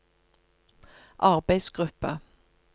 arbeidsgruppa